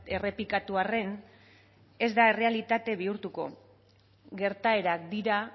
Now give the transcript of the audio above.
errepikatu arren ez da errealitate bihurtuko gertaerak dira